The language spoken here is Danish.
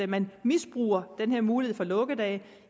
man misbruger den her mulighed for lukkedage